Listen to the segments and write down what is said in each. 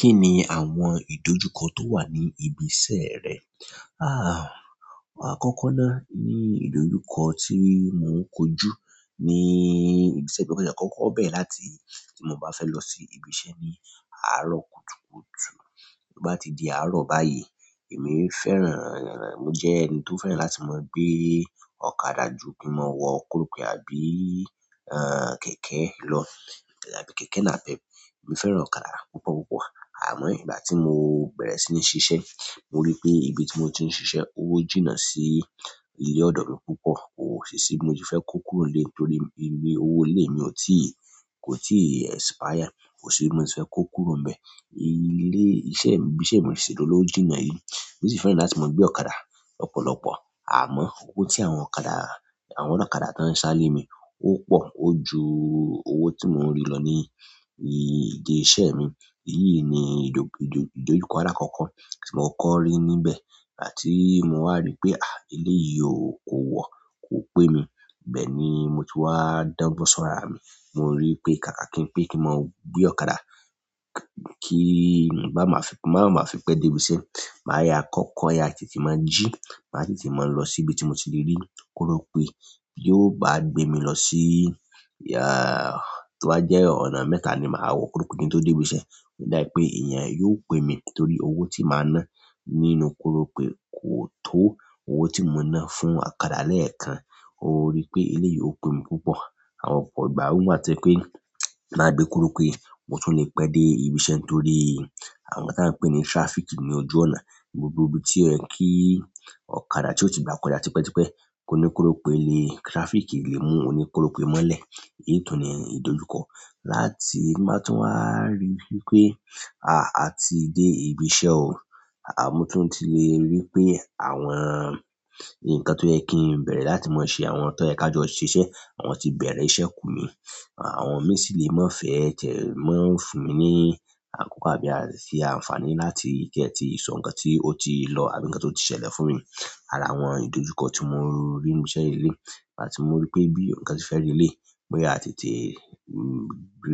Kí ni àwọn ìdójúkọ tó wà ní ibi iṣẹ́ rẹ? Akọkọ náà mi ni idojukọ ti mo n koju ní ibi iṣẹ́ ló, kin ti ẹ kọ́kọ́ bẹẹrẹ láti tí mò bá fẹ́ lọ sí ibi iṣẹ́ ní àárọ̀ kùtùkùtù bí ó bá ti di àárọ̀ báyìí èmi fẹ́ràn, mo jẹ́ ẹni tó fẹ́ràn láti máa gbé ọ̀kadà ju kin mo wọ korope àbí, kẹ̀kẹ́ lọ tàbí kẹ̀kẹ́ nápẹp. Èmi fẹ́ràn ọ̀kadà púpọ̀ púpọ̀ àmọ́ ìgbà tí mo bẹ̀rẹ̀ sí ní ṣiṣẹ́ mo rí i pé ibi tí mo ti ń ṣiṣẹ́ ó jìnnà sí ilé ọ̀dọ̀ mi púpọ̀ ko ṣi si bi mo se fẹ kó kúrò nílé torí owó ilé mi ò tíì kò tíì expire, kò síbí mo ti fẹ́ kó kúrò n bẹ́ẹ̀. Ilé iṣẹ́ mi, ibi tí mò ń ṣìṣẹ́ lọ ó jìnnà yìí mo sì fẹ́ràn láti máa gbé ọ̀kadà lọ́pọ̀lọ́pọ̀ àmọ́ owó tí àwọn ọ̀kadà àwọn ọ̀lọkadà tó ń sá lé mi ó pò ó ju owó tí mò ń rí lọ ní ìdí iṣẹ́ mi. Èyí ni ìdo ìdo ìdójúkọ àlakọ́kọ́ tí mò kọ́kọ rí níbẹ̀ igbati mò wá rí pé, ah, ele yìí ò kó wọ̀ kò pé mi. Bẹ́ẹ̀ ni mo ti wá dọgbọn sọ́rọ ara mi mò ń rí pé káàkà kí n pè kí n máa gbé ọ̀kadà kí n bá máa fi máa ma fi pẹ́ dé ibi iṣẹ́. Màá ya kọ́kọ́ ya tètè máa jí màá tètè máa lọ síbi tí mo ti lè rí korope yi ó bá gbé mi lọ sí, tó bá jẹ́ ọ̀nà mẹ́ta ni màá wọ korope kin to dé ibi iṣẹ́. Ó dà pé èèyàn yóò pè mí torí owó tí màá ná nínú korope kò tó owó tí mò ń ná fún ọ̀kadà lẹ́ẹ̀kan. Ó rí pé ilé yìí ó pé mi púpọ̀. Àwọn ọ̀pọ̀ ìgbà wọn má ti ń pè máà gbé kòròpè mo tún lè pẹ́ dé ibi iṣẹ́ torí àwọn tí wọ́n ń pè ní traffic ní ojú ọ̀nà gbogbo ibi tí òyẹ kì ọ̀kadà tí ó ti bá kọjá tipẹ́tipẹ́ kó ní kòròpe nì traffic lè mú ọ ní kòròpè mọ́lẹ̀. Èyí tún ni ìdójúkọ láti má tún wá rí pé, à, à ti dé ibi iṣẹ́ ò à mò tún ti lè rí pé àwọn ǹkàn tí ó yẹ kí n bẹ̀rẹ̀ láti máa ṣe àwọn nǹkan tí ẹ ká jọ ṣiṣẹ́ àwọn ti bẹ̀rẹ̀ iṣẹ́ kù mí. Àwọn mi sì lè má fẹ́ tẹ̀ mọ́n fún mi ní àkókò àbí àti ṣe àǹfààní láti kí ẹ ti sọ ǹkan tí ó ti lọ́ àbí ǹkan tó ti ṣẹlẹ̀ fún mi. Àrà àwọn ìdójúkọ tí mò ń rí níbi iṣẹ́ lèlèyì ìgbà tì mò rí pé bí ǹkan tí fẹ́ rí lélèyì mò yá tètè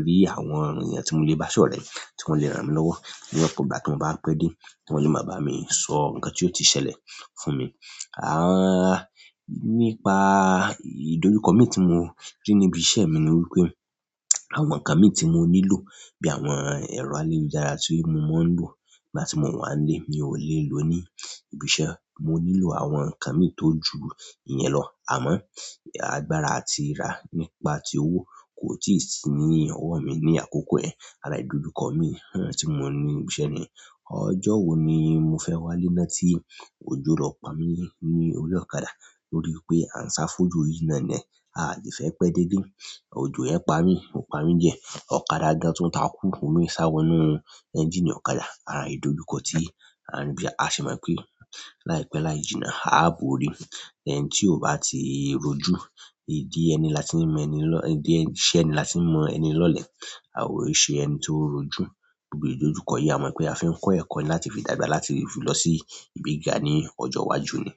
rí àwọn èèyàn tí mò lè bá sọ̀rẹ, tí wọ́n lè ràn mi lọ́wọ́ ní ọ̀pọ̀ ìgbà tí mò bá pẹ́ dé tí wọ́n lè máà bá mi sọ ǹkan tí ó ti ṣẹlẹ̀ fún mi. À, nípa ìdójúkọ mi tí mò ń rì níbi iṣẹ́ mi ni wípé àwọn ǹkan mi tí mo nílò bí àwọn ẹ̀rọ àyélujára tí mò máa ń lò ìgbà tí mò ń wà nílé mi ò lẹ́ lò ní ibi iṣẹ́. Mò nì lò àwọn nkàn mì tì ò jù iyẹn lọ, àmọn àgbààrà nìpà tì owó kò tì sì nì ọwọ mì nì àkòkò ẹ àrà ìdójúkọ mi, ùn, tí mò ní ibi iṣẹ́ ni ọjọ́ wo ni mo fẹ́ wá lé náà tí òjò lọ pà mí ní orí ọ̀kadà torí pé à ń sá fójò yìí náà ni a ò dẹ fẹ́ pẹ́ dé lé. Òjò yẹn pà mí, ò pami dìẹ ọ̀kadà gàn-àn tùn tàkú, òmì sá wọnú ẹ́ńjìnì ọ̀kadà ààrì ìdójúkọ tí a ń rí báyìí. A sì mọ̀ pé láìpẹ́ láì jìnnà a á borí. Ẹnì tìì ò bà tì ròjù, ìdì ẹnì là tì ń mọ ẹnì, ìdì ìṣẹ ẹnì làtì ń mọ ẹnì lọ lẹ àwò ò ń ṣè ẹnì tò ròòjù gbògbò ìdójúkọ yìí à mọ̀ pé à fì ń kọ́ ẹ̀kọ́ láti fi dàgbà láti fi lọ sí ibi gìgà ní ọjọ́ iwájú ni.